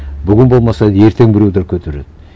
бүгін болмаса ертең біреулер көтереді